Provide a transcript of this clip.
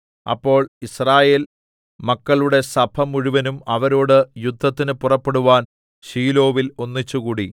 അപ്പോൾ യിസ്രായേൽ മക്കളുടെ സഭമുഴുവനും അവരോട് യുദ്ധത്തിന് പുറപ്പെടുവാൻ ശീലോവിൽ ഒന്നിച്ചുകൂടി